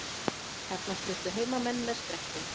Þarna sluppu heimamenn með skrekkinn